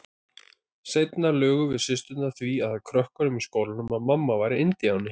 Seinna lugum við systurnar því að krökkunum í skólanum að mamma væri indíáni.